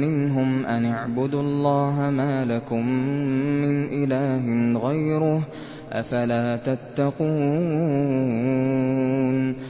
مِّنْهُمْ أَنِ اعْبُدُوا اللَّهَ مَا لَكُم مِّنْ إِلَٰهٍ غَيْرُهُ ۖ أَفَلَا تَتَّقُونَ